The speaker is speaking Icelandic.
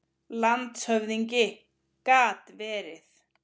LANDSHÖFÐINGI: Gat verið.